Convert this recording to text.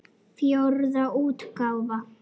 Fjórða útgáfa.